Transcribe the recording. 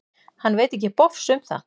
Hann veit ekki bofs um það.